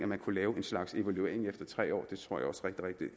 man kunne lave en slags evaluering efter tre år